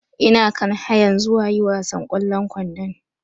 Ina kan hayan zuwa yi wasan kwallon ƙwandon